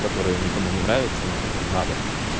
которая никому не нравится но надо